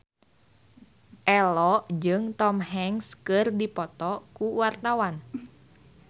Ello jeung Tom Hanks keur dipoto ku wartawan